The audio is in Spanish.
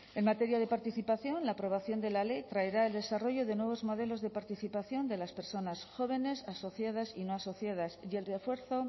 en materia de participación la aprobación de la ley traerá el desarrollo de nuevos modelos de participación de las personas jóvenes asociadas y no asociadas y el refuerzo